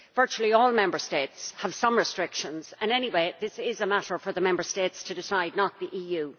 Virtually all Member States have some restrictions, and anyway this is a matter for the Member States to decide, not the EU.